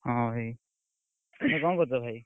ହଁ, ଭାଇ, ତମେ କଣ କରୁଛ ଭାଇ?